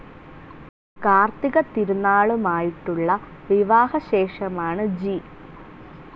കാർത്തിക തിരുനാളുമായിട്ടുള്ള വിവാഹ ശേഷമാണ് ജി.